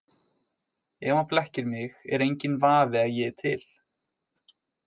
Ef hann blekkir mig er enginn vafi að ég er til.